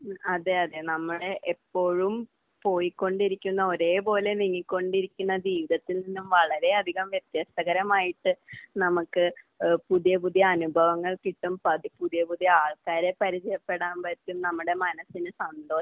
മ്മ്. അതെ. അതെ. നമ്മുടെ എപ്പോഴും പോയിക്കൊണ്ടിരിക്കുന്ന ഒരേപോലെ നീങ്ങിക്കൊണ്ടിരിക്കുന്ന ജീവിതത്തിൽ നിന്നും വളരെയധികം വ്യത്യസ്തകരമായിട്ട് നമുക്ക് ഏഹ് പുതിയ പുതിയ അനുഭവങ്ങൾ കിട്ടും, പതി...പുതിയ പുതിയ ആൾക്കാരെ പരിചയപ്പെടാം പറ്റും, നമ്മുടെ മനസിന് സന്തോഷം